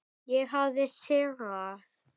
Ég hafði sigrað.